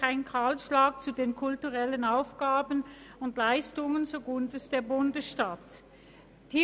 «Kein Kahlschlag der kulturellen Aufgaben und Leistungen zugunsten der Bundesstadt» haben wir bereits gestern behandelt.